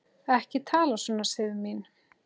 Ekki tala svona, Sif mín!